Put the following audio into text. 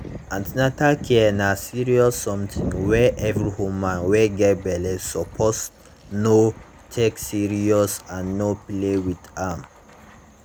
an ten atal care na serious something wey every woman wey get belle suppose know take serious and no play with am